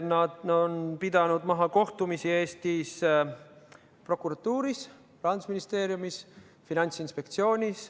Nad on pidanud kohtumisi Eesti prokuratuuris, Rahandusministeeriumis, Finantsinspektsioonis.